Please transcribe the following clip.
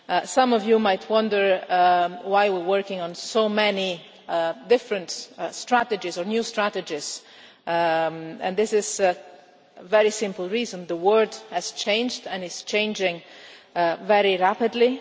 Some of you might wonder why we are working on so many different strategies or new strategies, and this is for a very simple reason. The world has changed and is changing very rapidly.